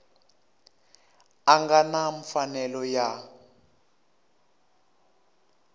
a nga na mfanelo ya